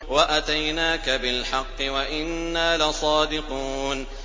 وَأَتَيْنَاكَ بِالْحَقِّ وَإِنَّا لَصَادِقُونَ